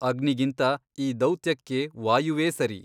ಅಗ್ನಿಗಿಂತ ಈ ದೌತ್ಯಕ್ಕೆ ವಾಯುವೇ ಸರಿ.